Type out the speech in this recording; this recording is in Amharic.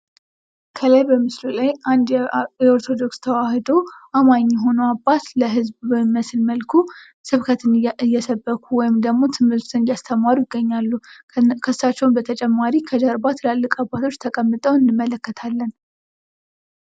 ከላይ በምስሉ ላይ አንድ የኦርቶዶክስ ተዋህዶ አማኝ የሆኑ አባት ለህዝብ በሚመስል መልኩ ስብከትን እየሰበኩ ወይም ደግሞ ትምህርትን እያስተማሩ ይገኛሉ ።ከእሳቸው በተጨማሪ ከጀርባ ትላልቅ አባቶች ተቀምጠው እንመለከታለን ።